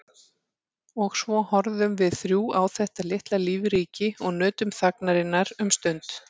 Og svo horfðum við þrjú á þetta litla lífríki og nutum þagnarinnar um stund.